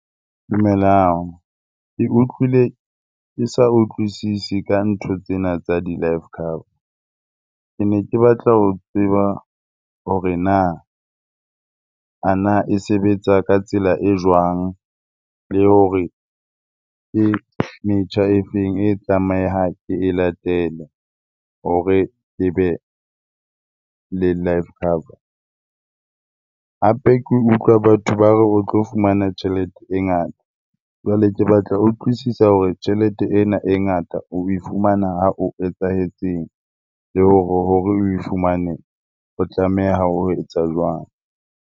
Dumelang. Ke utlwile ke sa utlwisise ka ntho tsena tsa di-life cover. Ke ne ke batla ho tseba hore na, a na e sebetsa ka tsela e jwang? Le hore ke metjha e feng e tlamehang ke e latele hore ke be le life cover? Hape ke utlwa batho ba o tlo fumana tjhelete e ngata, jwale ke batla ho utlwisisa hore tjhelete ena e ngata o e fumana ha o etsahetseng? Le hore oe fumane o tlameha ho etsa jwang?